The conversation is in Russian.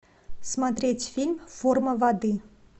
смотреть фильм форма воды